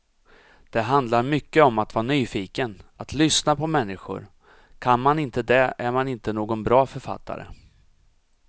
Det handlar mycket om att vara nyfiken, att lyssna på människor, kan man inte det är man inte någon bra författare.